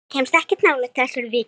Ekkert kemst nálægt þessari viku.